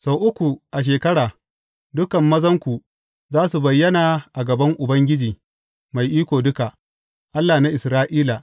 Sau uku a shekara, dukan mazanku za su bayyana a gaban Ubangiji Mai Iko Duka, Allah na Isra’ila.